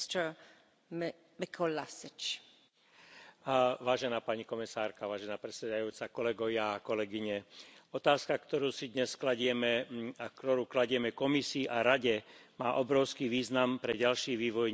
Vážená pani komisárka, vážená pani predsedajúca, kolegovia a kolegyne, otázka, ktorú si dnes kladieme, ktorú kladieme Komisii a Rade, má obrovský význam pre ďalší vývoj nielen našej spoločnosti, ale i ľudstva ako takého.